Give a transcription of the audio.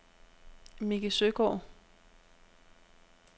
Mickey Søegaard